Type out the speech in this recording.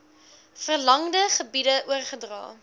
verlangde gebiede oorgedra